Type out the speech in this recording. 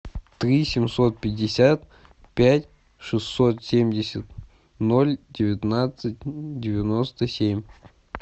три семьсот пятьдесят пять шестьсот семьдесят ноль девятнадцать девяносто семь